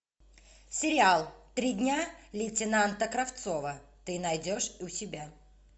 сериал три дня лейтенанта кравцова ты найдешь у себя